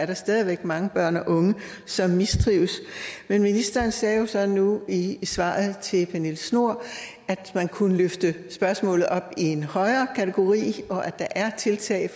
der stadig væk mange børn og unge som mistrives men ministeren sagde jo så nu i svaret til pernille schnoor at man kunne løfte spørgsmålet op i en højere kategori og at der er tiltag